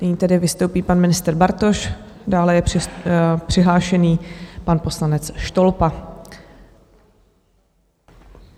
Nyní tedy vystoupí pan ministr Bartoš, dále je přihlášen pan poslanec Štolpa.